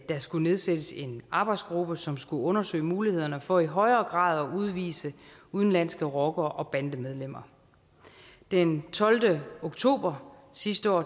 skulle nedsættes en arbejdsgruppe som skulle undersøge mulighederne for i højere grad at udvise udenlandske rockere og bandemedlemmer den tolvte oktober sidste år